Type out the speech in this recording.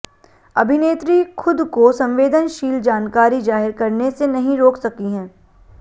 अभिनेत्री खुद को संवेदनशील जानकारी जाहिर करने से नहीं रोक सकी हैं